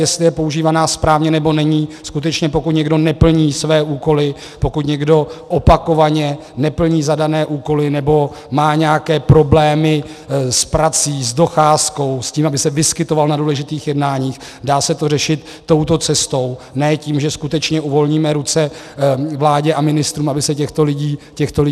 Jestli je používána správně, nebo není, skutečně pokud někdo neplní své úkoly, pokud někdo opakovaně neplní zadané úkoly nebo má nějaké problémy s prací, s docházkou, s tím, aby se vyskytoval na důležitých jednáních, dá se to řešit touto cestou, ne tím, že skutečně uvolníme ruce vládě a ministrům, aby se těchto lidí zbavovali.